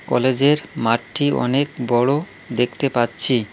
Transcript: কলেজের মাঠটি অনেক বড় দেখতে পাচ্ছি।